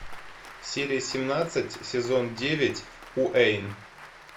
серия семнадцать сезон девять уэйн